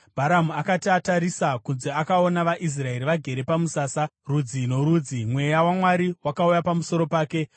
Bharamu akati atarisa kunze akaona vaIsraeri vagere pamusasa, rudzi norudzi, Mweya waMwari wakauya pamusoro pake